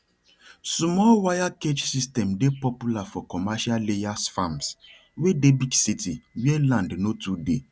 small wire cage system dey popular for commercial layers farms wey dey big city where land no too dey